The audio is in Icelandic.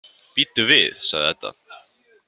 Bíddu við, sagði Edda.